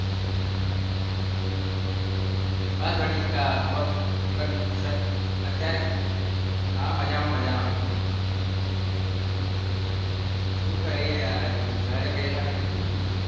बस बढ़िया અત્યારે હા મજામાં મજામાં શું કરીએ યાર હજુ ઘરે બેઠા બેઠા.